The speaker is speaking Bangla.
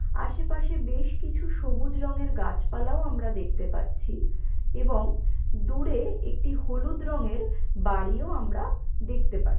আশেপাশে বেশকিছু সবুজ রঙের গাছপালাও আমরা দেখতে পাচ্ছি এবং দূরে একটি হলুদ রঙের বাড়িও আমরা দেখতে পা --